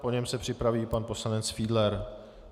Po něm se připraví pan poslanec Fiedler.